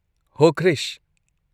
ꯍꯣ ꯀ꯭ꯔꯤꯁ!